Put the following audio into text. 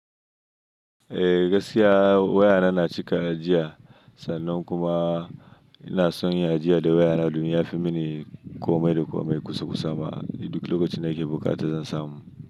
Eh gaskiya wayana na cika jiya, sannan kuma ina son ya jiya da wayana domin yafi mini komai da komai kusa kusa ma duk lokacin da ke bukata zan samu.